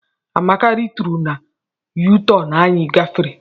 Amaka rituru na U-turn anyị gafere.